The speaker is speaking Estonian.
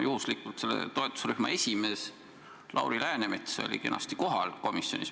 Juhuslikult oli selle toetusrühma esimees Lauri Läänemets komisjonis kenasti kohal.